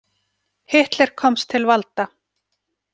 Hitler komst til valda.